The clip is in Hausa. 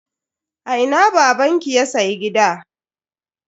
A ina babanki ya siya gida?